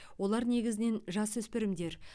олар негізінен жасөспірімдер